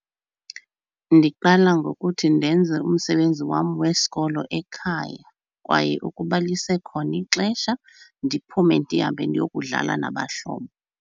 Ndiqala ngokuthi ndenze umsebenzi wam wesikolo ekhaya kwaye ukuba lisekhona ixesha ndiphume ndihambe ndiyokudlala nabahlobo.